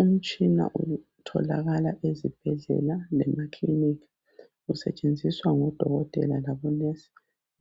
Umtshina otholakala ezibhedlela lemakilinika, usentshenziswa ngodokotela labonesi